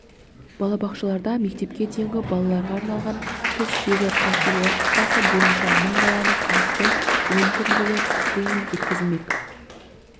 балабақшаларда мектепке дейінгі балаларға арналған тіс жегі профилактикасы бойынша мың баланы қамтитын ойын түріндегі тренинг өткізілмек